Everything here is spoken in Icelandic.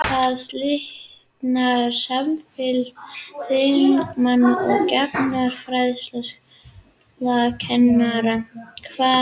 Þar slitnar samfylgd þingmanna og gagnfræðaskólakennara hvað launakjör varðar.